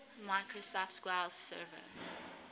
microsoft sql server